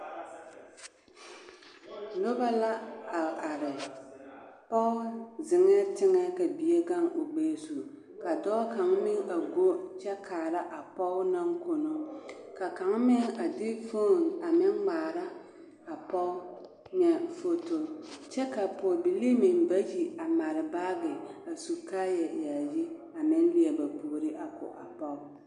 Noba la a are pɔge zeŋɛɛ teŋɛ ka bie gaŋ o gbɛɛ zu ka dɔɔ kaŋ meŋ a go kyɛ kaara a pɔge naŋ kono ka kaŋa meŋ a de fon a meŋ ŋmaara a pɔge foto kyɛ ka pɔɔbilii meŋ bayi a mare baagi a su kaaya yaayi a meŋ leɛ ba puori a ko a pɔge.